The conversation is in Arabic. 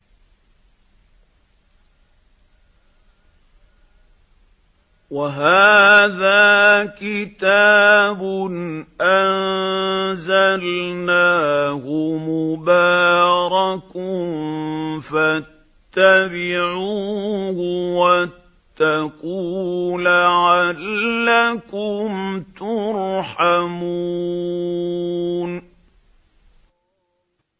وَهَٰذَا كِتَابٌ أَنزَلْنَاهُ مُبَارَكٌ فَاتَّبِعُوهُ وَاتَّقُوا لَعَلَّكُمْ تُرْحَمُونَ